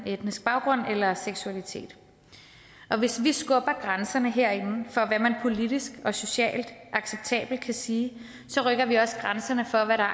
etniske baggrund eller seksualitet og hvis vi skubber grænserne herinde for hvad man politisk og socialt acceptabelt kan sige så rykker vi også grænserne for hvad der